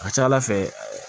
A ka ca ala fɛ